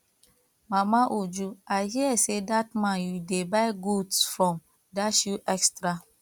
mama uju i hear say dat man you dey buy goods from dash you extra